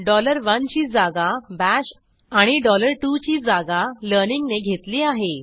dollar 11 ची जागा bash आणि डॉलर 22ची जागा learningने घेतली आहे